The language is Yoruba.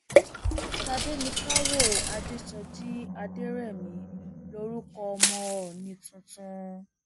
tádéníkáwọ adésọjí adẹrẹmí lorúkọ ọmọ òónì tuntun